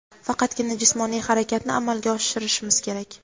faqatgina jismoniy harakatni amalga oshirishimiz kerak.